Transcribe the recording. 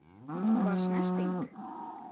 Var snerting?